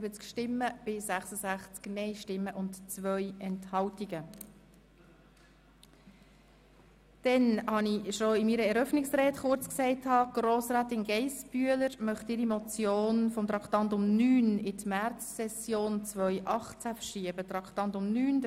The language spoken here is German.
Wie ich in meiner Eröffnungsrede bereits kurz angetönt habe, stellt Grossrätin Geissbühler den Ordnungsantrag, die Beratung von Traktandum 9, der von ihr eingereichten Motion 097-2017 «